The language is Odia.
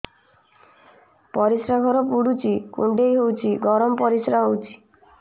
ପରିସ୍ରା ଘର ପୁଡୁଚି କୁଣ୍ଡେଇ ହଉଚି ଗରମ ପରିସ୍ରା ହଉଚି